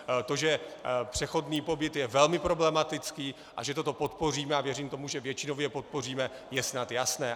To, že přechodný pobyt je velmi problematický a že toto podpoříme, a věřím tomu, že většinově podpoříme, je snad jasné.